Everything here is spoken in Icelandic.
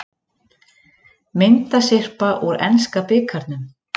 Myndasyrpa úr enska bikarnum